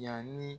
Yanni